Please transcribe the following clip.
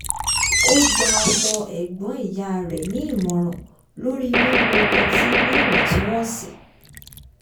ó gba ọmọ ẹ̀gbọ́n ìyá rẹ̀ nì ìmọ̀ràn lórí mímu ọtí níwò̩n-tún-wò̩n sì